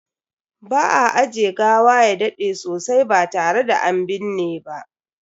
Ba a ajiye gawa ya dade sosai ba tare da an binne ba.